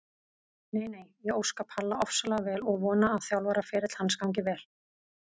Nei nei, ég óska Palla ofsalega vel og vona að þjálfaraferill hans gangi vel.